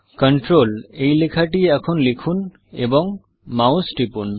control এই লেখা টি এখন লিখুন এবং মাউস টিপব